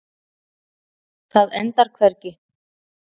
Það endar hvergi.